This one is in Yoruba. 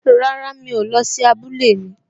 Rárá, mi ò lọ sí abúlé mi